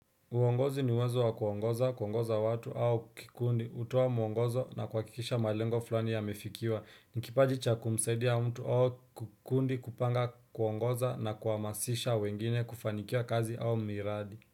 Uongozi ni uwezo wa kuongoza, kuongoza watu au kikundi, hutoa mwongozo na kuhakikisha malengo fulani yamefikiwa. Ni kipaji cha kumsaidia mtu au kikundi kupanga kuongoza na kuhamasisha wengine kufanikiwa kazi au miradi.